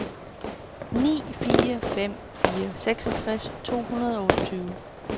ni fire fem fire seksogtres to hundrede og otteogtyve